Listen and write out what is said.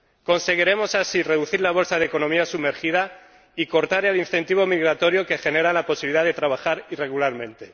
Conseguiremos así reducir la bolsa de economía sumergida y cortar el incentivo migratorio que genera la posibilidad de trabajar irregularmente.